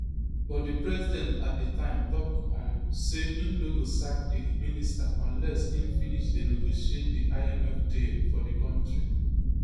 but di president at di time tok um say im no go sack di minister unless im finish dey negotiate di imf deal for di kontri